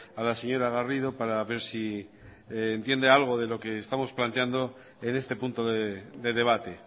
a la señora garrido para ver si entiende algo de lo que estamos planteando en este punto de debate